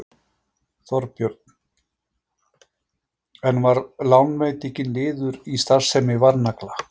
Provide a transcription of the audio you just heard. Þorbjörn: En var lánveitingin liður í starfsemi Varnagla?